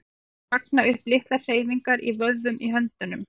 Þeir magna upp litlar hreyfingar í vöðvunum í höndunum.